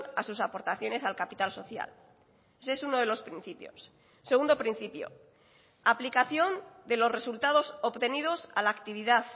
a sus aportaciones al capital social ese es uno de los principios segundo principio aplicación de los resultados obtenidos a la actividad